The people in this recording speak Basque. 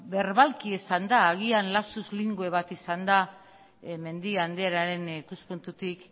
berbalki esanda agian lapsus linguae bat izan da mendia andrearen ikuspuntutik